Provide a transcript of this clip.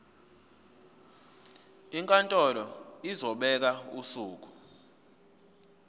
inkantolo izobeka usuku